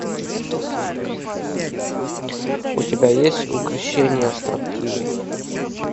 у тебя есть укрощение строптивой